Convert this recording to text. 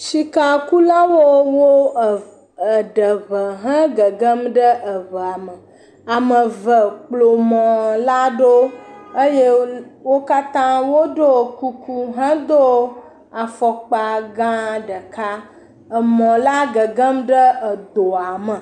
Sikakulawo wo e..e…ɖe ŋu he gegem ɖe eŋua me, ame eve kplɔ mɔ la ɖo eye wol..wo katã woɖo kuku hedo afɔkpa gã ɖeka, emɔ la gege ɖe edoa me.